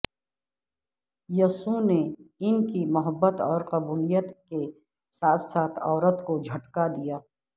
یسوع نے ان کی محبت اور قبولیت کے ساتھ ساتھ عورت کو جھٹکا دیا